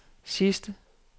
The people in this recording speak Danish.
sidste